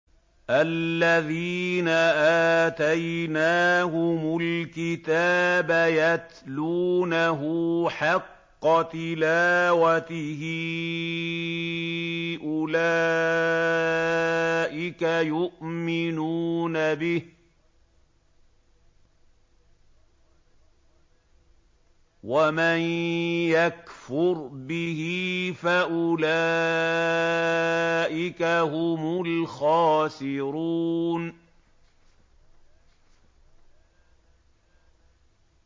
الَّذِينَ آتَيْنَاهُمُ الْكِتَابَ يَتْلُونَهُ حَقَّ تِلَاوَتِهِ أُولَٰئِكَ يُؤْمِنُونَ بِهِ ۗ وَمَن يَكْفُرْ بِهِ فَأُولَٰئِكَ هُمُ الْخَاسِرُونَ